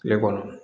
Tile kɔnɔ